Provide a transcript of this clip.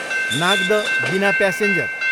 नाग्द, बिना प्यासेन्जर